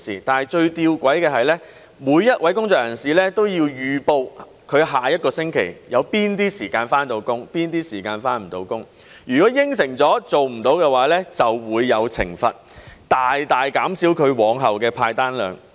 但最吊詭的是，每位工作人士都要預報他下一個星期有哪些時間可以上班，哪些時間無法上班。如果應承了而做不到的話，便會有懲罰，大大減少他往後的派單量。